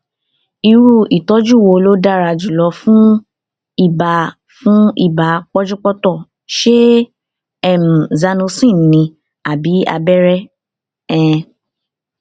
irú ìtọjú wo ló dára jùlọ fún ibà fún ibà pọnjúpọntọ ṣé um zanocin ni àbí abẹrẹ um